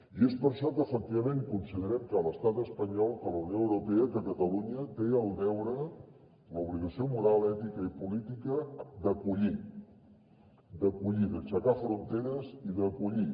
i és per això que efectivament considerem que l’estat espanyol que la unió europea que catalunya tenen el deure l’obligació moral ètica i política d’acollir d’acollir d’aixecar fronteres i d’acollir